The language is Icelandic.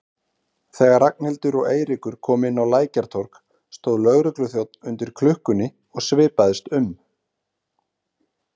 Þegar Ragnhildur og Eiríkur komu inn á Lækjartorg stóð lögregluþjónn undir klukkunni og svipaðist um.